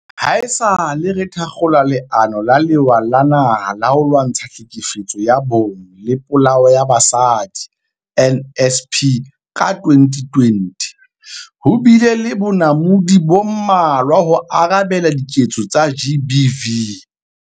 Haesale re thakgola Leano la Lewa la Naha la ho Lwantsha Tlhekefetso ya Bong le Polao ya Basadi, NSP, ka 2020, ho bile le bonamodi bo mmalwa ho arabela diketso tsa GBV.